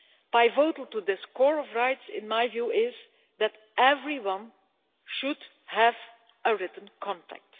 Pivotal to this core of rights, in my view, is that everyone should have a written contract.